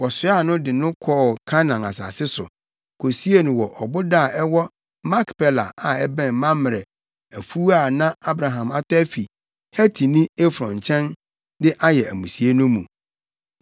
Wɔsoaa no, de no kɔɔ Kanaan asase so, kosiee no wɔ ɔboda a ɛwɔ Makpela a ɛbɛn Mamrɛ afuw a na Abraham atɔ afi Hetini Efron nkyɛn de ayɛ amusiei no mu.